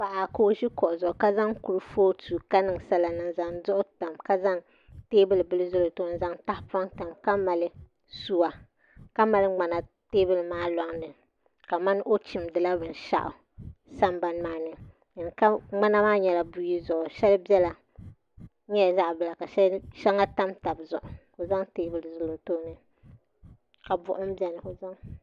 Paɣa ka o ʒi kuɣu zuɣu ka zaŋ kurifooti ka niŋ sala niŋ n zaŋ duɣu tam ka zaŋ teebuli bili zali o tooni n zaŋ tahapoŋ tam ka mali suwa ka mali ŋmana teebuli maa loŋni kamani o chimdila binshaɣu sambani maa ni ŋmana maa nyɛla buyi zuɣu shɛli nyɛla zaɣ bila ka shɛli tam tabi zuɣu ka o zaŋ teebuli zali o tooni ka buɣum biɛni